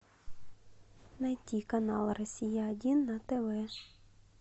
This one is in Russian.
найти канал россия один на тв